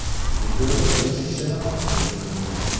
Videoda besh kishini ko‘rish mumkin.